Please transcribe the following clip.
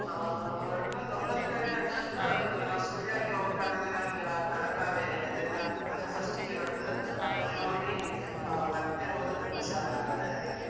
ಹಾ ಹೊರಟು ಒಂದು ಒಂಬತ್ತು ಗಂಟೆ ಹತ್ರ ಹತ್ರ ಇದು ನಾವು Sulya ಕ್ಕೆ ಹೋಗುವ ಕಾರಣದಿಂದ ನಮಗೆ ಆ Talakaveri ಅದೆಲ್ಲ ಅಂದ್ರೆ first ಗೆ ಬರ್ತದಲ್ಲ ಅದನ್ನು ನೋಡಿ ಆ ಮತ್ತೆ ಹೋದದ್ದು Kushala Nagara ಎಲ್ಲ ಆಗಿ.